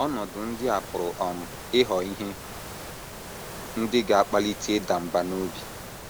Ọnọdụ ndị a pụrụ um ịghọ ihe ndị ga - akpalite ịda mbà n’obi.